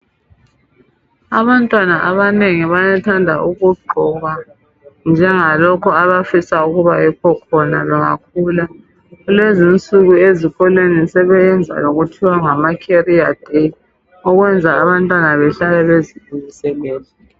Abantwana abanengi bayathanda ukugqoka njengalokhu abafisa ukuba yikho khona bengakhula. Kulezi insuku ezikolweni sebeyenza okuthiwa ngama career day okwenza abantwana behlale bezilungiselele.